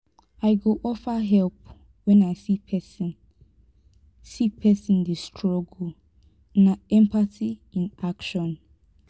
i go offer help when i see pesin see pesin dey struggle; na empathy in action.